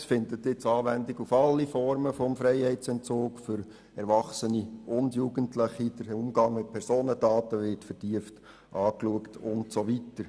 Es findet jetzt Anwendung auf alle Formen des Freiheitsentzugs für Erwachsene und Jugendliche, der Umgang mit Personendaten wird vertieft betrachtet usw.